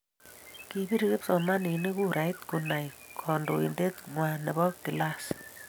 kibir kipsomaninik kurait kunai kantoitet kwang nebo klas